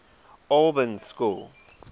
albans school